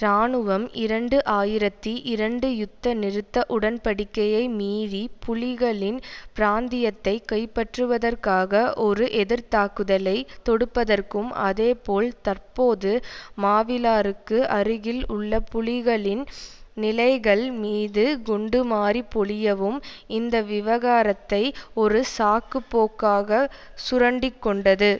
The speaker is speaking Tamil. இராணுவம் இரண்டு ஆயிரத்தி இரண்டு யுத்த நிறுத்த உடன்படிக்கையை மீறி புலிகளின் பிராந்தியத்தை கைப்பற்றுவதற்காக ஒரு எதிர் தாக்குதலை தொடுப்பதற்கும் அதேபோல் தற்போது மாவிலாறுக்கு அருகில் உள்ள புலிகளின் நிலைகள் மீது குண்டுமாரி பொழியவும் இந்த விவகாரத்தை ஒரு சாக்கு போக்காக சுரண்டி கொண்டது